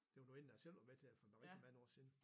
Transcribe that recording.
Det var nu en der selv var med til det for rigtig mange år siden